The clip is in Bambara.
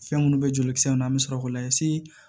Fɛn minnu bɛ joli kisɛ ninnu na an bɛ sɔrɔ k'o layɛ